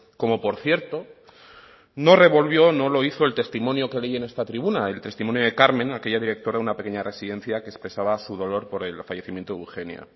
como por cierto no revolvió no lo hizo el testimonio que leí en esta tribuna el testimonio de carmen aquella directora de una pequeña residencia que expresaba su dolor por el fallecimiento de eugenia